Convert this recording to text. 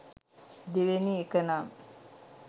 දෙවෙනි එකනම්